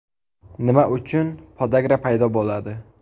Nima uchun podagra paydo bo‘ladi?